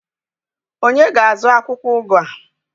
onye ga-azụ akwukwo ugu a?